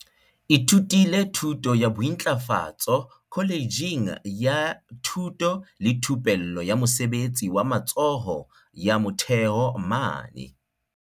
ithutile thuto ya bointlafatso kholetjheng ya thuto le thupello ya mosebetsi wa matsoho ya Motheo mane